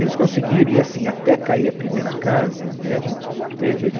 Eles conseguiram, e assim, até cair a primeira casa, né a gente manteve ali.